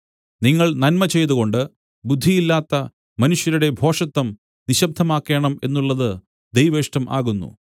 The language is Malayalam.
നിങ്ങൾ നന്മ ചെയ്തുകൊണ്ട് ബുദ്ധിയില്ലാത്ത മനുഷ്യരുടെ ഭോഷത്തം നിശബ്ദമാക്കേണം എന്നുള്ളത് ദൈവേഷ്ടം ആകുന്നു